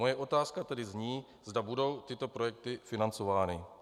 Moje otázka tedy zní, zda budou tyto projekty financovány.